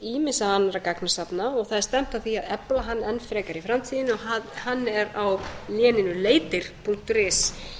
ýmissa annarra gagnasafna og það er stefnt að því að efla hann enn frekar í framtíðinni og hann er á léninu leitir punktur is